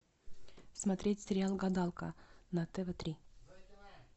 смотреть сериал гадалка на тв три